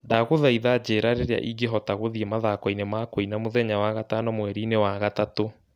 Ndagũthaitha njĩĩra rĩrĩa ingĩhota gũthiĩ mathako-inĩ ma kũina mũthenya wa gatano mweri-inĩ wa gatatũ.